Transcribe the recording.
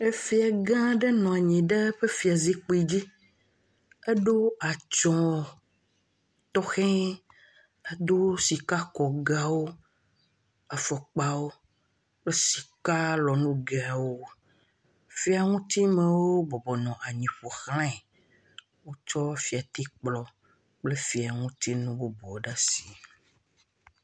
Efia gã aɖe nɔ anyi ɖe eƒe fiazikpui dzi. Eɖo atsɔ tɔxɛ aɖe. edo sikakɔgawo, afɔkpawo kple sikalɔnugewo. Fiaŋutimewo bɔbɔnɔ anyi ƒoxlae. Wotsɔ fiatikplɔ kple fiaŋutinu bubuwo ɖe asi.